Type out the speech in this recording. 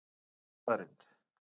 Þetta er staðreynd